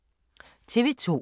TV 2